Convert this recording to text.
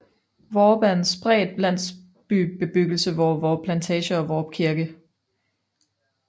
Hvorup er en spredt landsbybebyggelse ved Hvorup Plantage og Hvorup Kirke